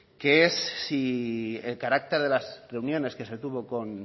que es si el carácter de las reuniones que se tuvo con